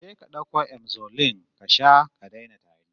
Je ka ka dauko Emzolin ka sha ka daina tari